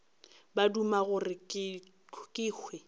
ba duma gore ke hwe